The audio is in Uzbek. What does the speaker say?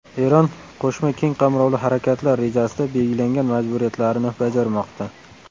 Eron Qo‘shma keng qamrovli harakatlar rejasida belgilangan majburiyatlarini bajarmoqda.